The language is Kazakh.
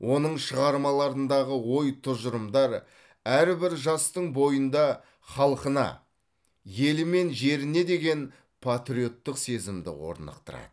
оның шығармаларындағы ой тұжырымдар әрбір жастың бойында халқына елі мен жеріне деген патриоттық сезімді орнықтырады